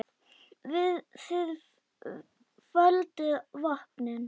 Þið földuð vopnin.